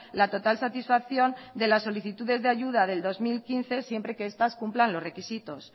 la total satisfacción de las solicitudes de ayuda del dos mil quince siempre que estas cumplan los requisitos